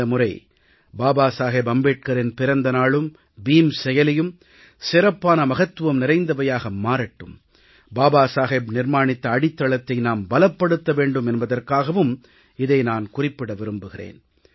இந்த முறை பாபா சாஹேப் அம்பேத்கரின் பிறந்த நாளும் பீம் செயலியும் சிறப்பான மகத்துவம் நிறைந்தவையாக மாறட்டும் பாபா சாஹேப் நிர்மாணித்த அடித்தளத்தை நாம் பலப்படுத்த வேண்டும் என்பதற்காகவும் இதை நான் குறிப்பிட விரும்புகிறேன்